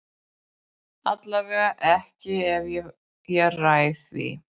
Allavega ekki ef ég ræð því.